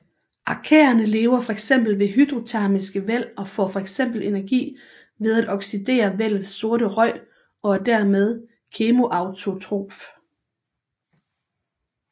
Arkæerne lever fx ved hydrotermiske væld og får fx energi ved at oxidere vældets sorte røg og er dermed kemoautotrof